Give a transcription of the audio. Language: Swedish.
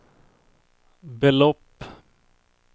belopp